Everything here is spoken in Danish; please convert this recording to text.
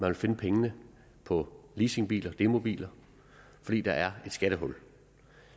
vil finde pengene på leasingbiler og demobiler fordi der er et skattehul